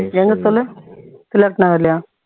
எங்க சொல்லு தில்லட் நகர்லையா